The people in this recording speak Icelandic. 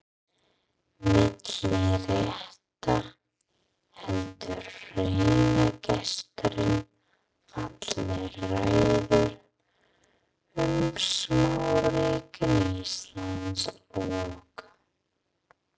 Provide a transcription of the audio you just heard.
Milli rétta heldur heiðursgesturinn fallega ræðu um smáríkin Ísland og